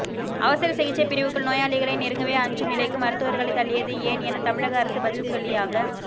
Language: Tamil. அவசர சிகிச்சை பிரிவுக்குள் நோயாளிகளை நெருங்கவே அஞ்சும் நிலைக்கு மருத்துவர்களை தள்ளியது ஏன் என தமிழக அரசு பதில் சொல்லியாக